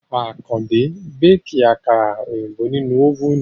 Àkàndé ń béèkì àkàrà òyìnbó nínú ófùnù